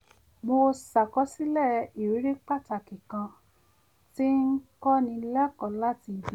mo ṣàkọsílẹ̀ ìrírí pàtàkì kan tí ń kọ́ ni lẹ́kọ̀ọ́ láti ibi iṣẹ